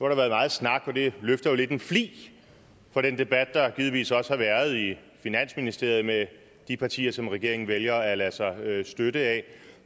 der været meget snak og det løfter jo lidt en flig af den debat der givetvis også har været i finansministeriet med de partier som regeringen vælger at lade sig støtte af